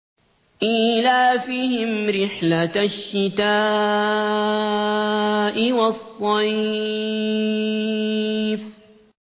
إِيلَافِهِمْ رِحْلَةَ الشِّتَاءِ وَالصَّيْفِ